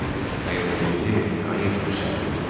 Nə qədər gec deyil, qayıt bu səhv yoldan.